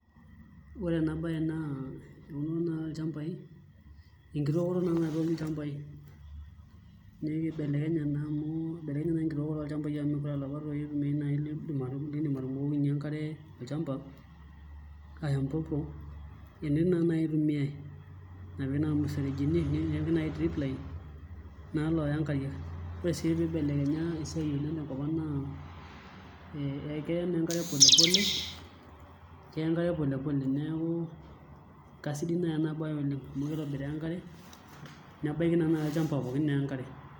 Ore ena baye naa enkitookoto naai naitooki ilchambai neeku ibelekenye naa enkitookore olchambai amu meekure aa ilapa tooi itumiai liidim atubukokinyie enkare olchamba ashu nai drip line ore sii piibelekenye esiai tenkop ang' naa keya enkare pole pole kasidai naai ena baye oleng' amu kitobiraa enkare nebaiki naa olchamba pookin.